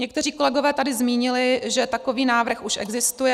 Někteří kolegové tady zmínili, že takový návrh už existuje.